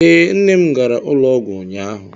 Ee, nne m gara ụlọọgwụ ụnyaahụ.